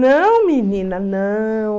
Não, menina, não.